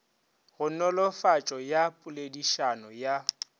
go nolofatšo ya poledišano ya